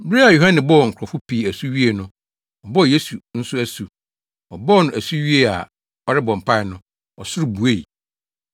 Bere a Yohane bɔɔ nkurɔfo pii asu wiee no, ɔbɔɔ Yesu nso asu. Ɔbɔɔ no asu wiee a ɔrebɔ mpae no, ɔsoro buei.